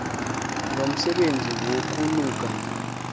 lo msebenzi wokunuka